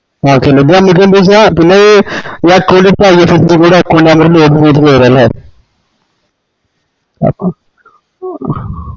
okay ഏത് ഞമ്മക്ക്ന്താച്ചാ പിന്നെ ഈ account ഇപ്പൊ IFSC code ഉം account number ഉംവേണംലെ